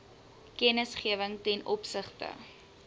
kennisgewing ten opsigte